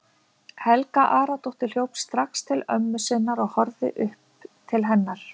Helga Aradóttir hljóp strax til ömmu sinnar og horfði upp til hennar.